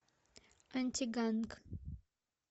антиганг